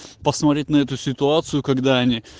посмотреть на эту ситуацию когда они